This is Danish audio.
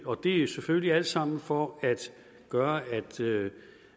og det er selvfølgelig alt sammen for at gøre